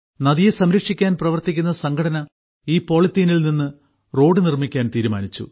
നദിയെ സംരക്ഷിക്കാൻ പ്രവർത്തിക്കുന്ന സംഘടന ഈ പോളിത്തീനിൽ നിന്ന് റോഡ് നിർമ്മിക്കാൻ തീരുമാനിച്ചു